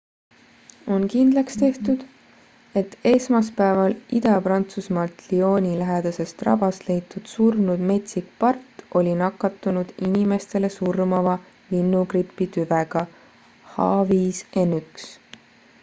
on kindlaks tehtud et esmaspäeval ida-prantsusmaalt lyoni lähedasest rabast leitud surnud metsik part oli nakatunud inimestele surmava linnugripi tüvega h5n1